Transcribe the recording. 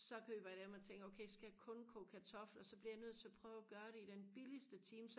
så køber jeg dem og tænker jeg okay så skal jeg kun koge kartofler så bliver jeg nødt til og prøve og gøre det i den billigeste time